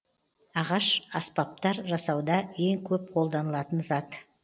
ағаш аспапстар жасауда ең көп қолданылатын зат